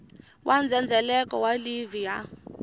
wa ndzhendzheleko wa livhi ya